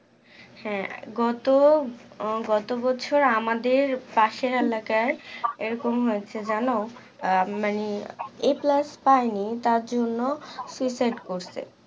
হ্যাঁ গত আহ গত বছর আমাদের পাশের এলাকাই এরকম হয়েছে জানো আহ মানে a plus পায়নি তার জন্য suicide করছে